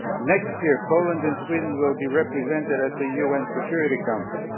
Next year, Poland and Sweden will be represented at the UN Security Council.